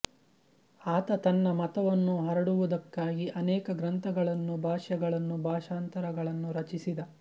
ಆತ ತನ್ನ ಮತವನ್ನು ಹರಡುವುದಕ್ಕಾಗಿ ಅನೇಕ ಗ್ರಂಥಗಳನ್ನೂ ಭಾಷ್ಯಗಳನ್ನೂ ಭಾಷಾಂತರಗಳನ್ನೂ ರಚಿಸಿದ